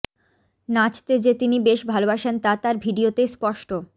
নাচতে যে তিনি বেশ ভালবাসেন তা তার ভিডিওতেই স্পষ্ট